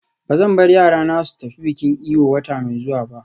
Ba zan bar yarana su tafi bikin Eyo wata mai zuwa ba.